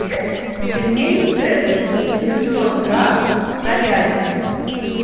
пельмени цезарь восемьсот грамм говядина